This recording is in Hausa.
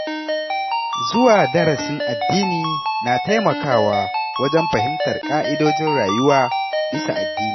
Zuwa darasin addini na taimakawa wajen fahimtar ƙa’idojin rayuwa bisa addini.